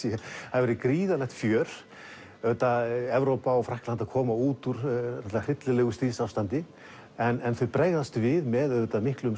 hafi verið gríðarlegt fjör auðvitað Evrópa og Frakkland að koma út úr hryllilegu stríðsástandi en þau bregðast við með miklum